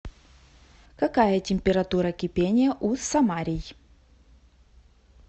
какая температура кипения у самарий